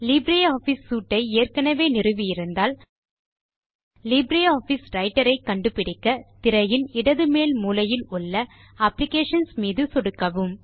Libre Office suite ஐ ஏற்கெனெவே நிறுவி இருந்தால் லீப்ரே ஆஃபிஸ் ரைட்டர் ஐ கண்டுபிடிக்க திரையின் இடது மேல் மூலையில் உள்ள அப்ளிகேஷன்ஸ் மீது சொடுக்கவும்